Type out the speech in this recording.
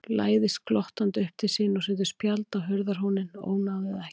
Læðist glottandi upp til sín og setur spjald á hurðarhúninn: Ónáðið ekki!